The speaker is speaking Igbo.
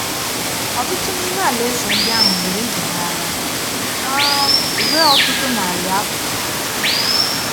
Ọtụtụ n’ime alaeze ndị ahụ lụrụ ibe ha agha um ruo ọtụtụ narị afọ.